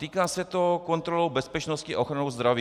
Týká se to kontroly bezpečnosti a ochrany zdraví.